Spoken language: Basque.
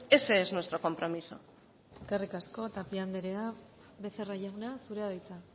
ese es nuestro compromiso eskerrik asko tapia anderea becerra jauna zurea da hitza